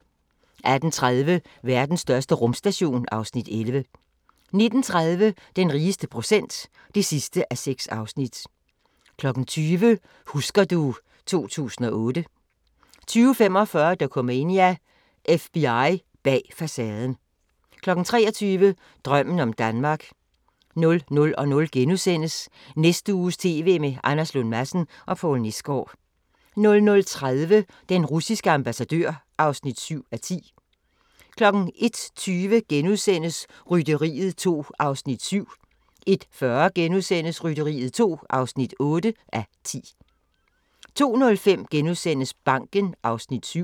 18:30: Verdens største rumstation (Afs. 11) 19:30: Den rigeste procent (6:6) 20:00: Husker du ... 2008 20:45: Dokumania: FBI bag facaden 23:00: Drømmen om Danmark 00:00: Næste uges TV med Anders Lund Madsen og Poul Nesgaard * 00:30: Den russiske ambassadør (7:10) 01:20: Rytteriet 2 (7:10)* 01:40: Rytteriet 2 (8:10)* 02:05: Banken (Afs. 7)*